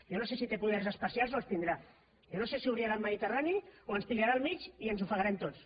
jo no sé si té poders especials o els tindrà jo no sé si obrirà el mediterrani o ens agafarà al mig i ens ofegarem tots